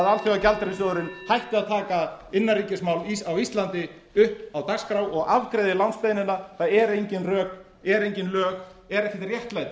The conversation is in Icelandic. alþjóðagjaldeyrissjóðurinn hætti að taka innanríkismál á íslandi upp á dagskrá og afgreiði lánsbeiðnina það eru engin rök eru engin lög er ekkert réttlæti